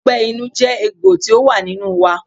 Ọgbẹ́ inú jẹ́ egbò tí ó wà nínú wa.